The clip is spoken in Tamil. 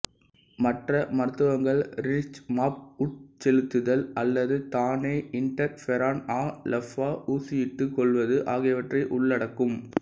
மற்ற மருத்துவங்கள் ரிடுக்சிமாப் உட்செலுத்துதல் அல்லது தானே இண்டர்ஃபெரான்ஆல்ஃபா ஊசியிட்டுக் கொள்வது ஆகியற்றை உள்ளடக்கும்